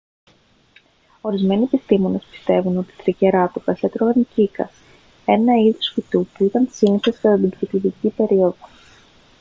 ορισμένοι επιστήμονες πιστεύουν ότι οι τρικεράτοπες έτρωγαν κύκας ένα είδος φυτού που ήταν σύνηθες κατά την κρητιδική περίοδο